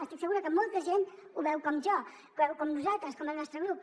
estic segura que molta gent ho veu com jo que ho veu com nosaltres com el nostre grup